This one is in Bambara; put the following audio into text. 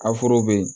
Aforo be yen